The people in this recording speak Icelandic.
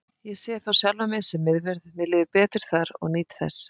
Ég sé þó sjálfan mig sem miðvörð, mér líður betur þar og nýt þess.